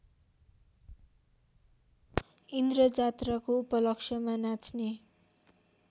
इन्द्रजात्राको उपलक्षमा नाच्ने